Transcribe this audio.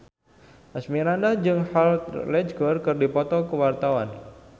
Asmirandah jeung Heath Ledger keur dipoto ku wartawan